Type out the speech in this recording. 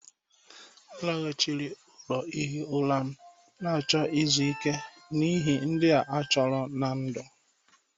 M laghachiri ụlọ ihi ụra m, na-achọ izu ike n'ihi ihe ndị a chọrọ ná ndụ.